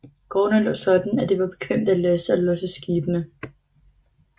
Gårdene lå sådan at det var bekvemt at laste og losse skibene